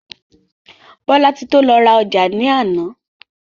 Bolatito lọ ra ọjà ní àná.